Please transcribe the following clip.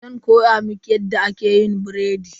Zan koya miki yadda ake biredi.